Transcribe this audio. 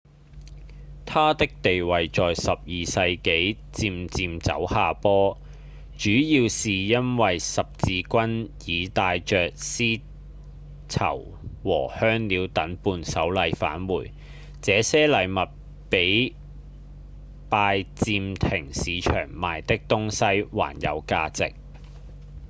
它的地位在12世紀漸漸走下坡主要是因為十字軍已帶著絲綢和香料等伴手禮返回這些禮物比拜占庭市場賣的東西還有價值